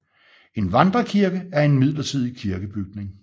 En vandrekirke er en midlertidig kirkebygning